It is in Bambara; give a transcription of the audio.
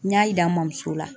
N y'a yira n mɔmuso la.